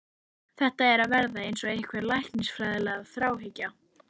Þetta er að verða eins og einhver læknisfræðileg þráhyggja.